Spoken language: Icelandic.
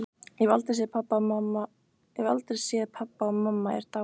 Ég hef aldrei séð pabba og mamma er dáin.